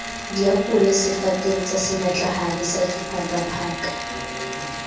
diapole difateng tsasenatlahadi se diphakaphaka